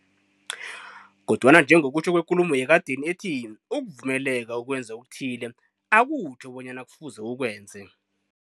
Kodwana njengokutjho kwekulumo yekadeni ethi, ukuvumeleka ukwenza okuthile, akutjho bonyana kufuze ukwenze.